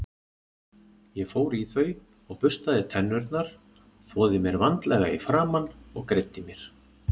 Ég fór í þau og burstaði tennurnar, þvoði mér vandlega í framan og greiddi mér.